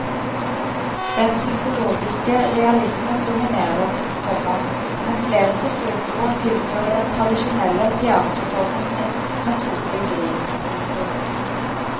Den psykologiske realismen dominerer, komma men flere forsøker å tilføre den tradisjonelle teaterformen en personlig vri. punktum